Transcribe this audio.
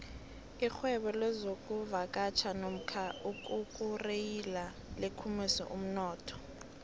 irhwebo lezokuvakatjha nomka ukukureriya likhulise umnotho